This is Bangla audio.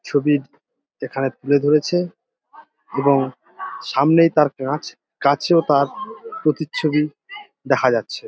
ছবির এখানে তুলে ধরেছে এবং সামনেই তার কাঁচ কাচেও তার প্রতিচ্ছবি দেখা যাচ্ছে ।